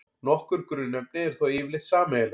Nokkur grunnefni eru þó yfirleitt sameiginleg.